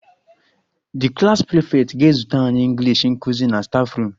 The klas prefect ga-ezute anyị English nkụzi na staffroom